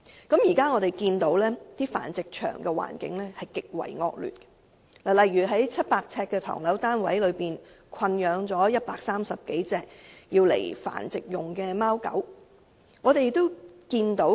我們亦從很多報道得知，繁殖場的環境極為惡劣，例如在700平方呎的唐樓單位裏困養了130多隻作繁殖用途的貓狗。